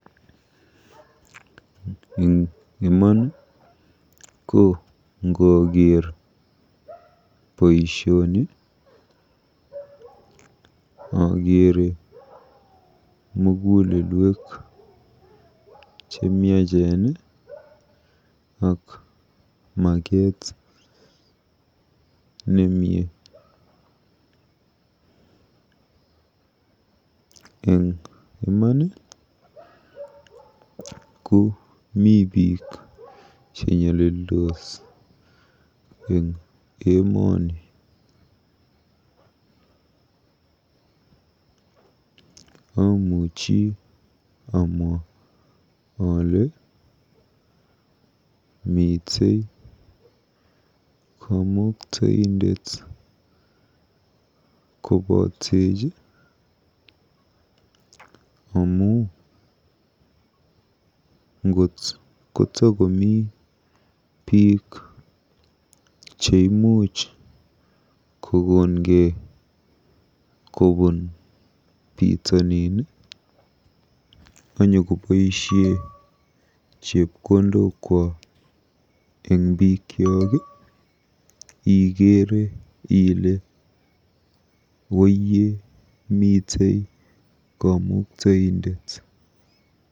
Eng iman ko ngooker boisioni okeere mugulelwek chemiachen ak maget nemie. Eng iman ko mi biik chenyalildos eng emoni. Amuchi amwa ale mitei kamuktaindet kobootech ngot kotakomi biik cheimuch kokonkei kobuun bitonin anyokoboisie chepkondokwak eng bikyok ikeere ile woiye mitei kamuktaindet.